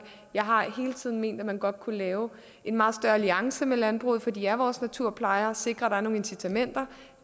jeg har hele tiden ment at man godt kunne lave en meget større alliance med landbruget for de er vores naturplejere og sikre at der er nogle incitamenter